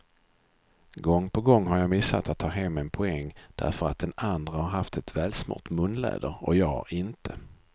Gång på gång har jag missat att ta hem en poäng därför att den andre har haft ett välsmort munläder och jag inte.